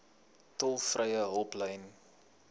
tolvrye hulplyn